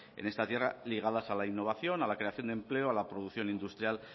en esta tierra ligadas a la innovación a la creación de empleo a la producción industrial